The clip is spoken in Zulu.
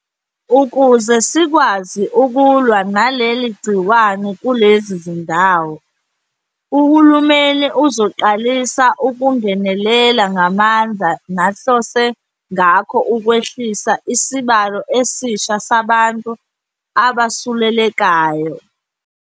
Ukuze sikwazi ukulwa naleli gciwane kulezi zindawo, uhulumeni uzoqalisa ukungenelela ngamandla nahlose ngakho ukwehlisa isibalo esisha sabantu abesulelekayo.